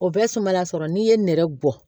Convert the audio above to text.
O bɛ sumala sɔrɔ n'i ye nɛrɛ bɔ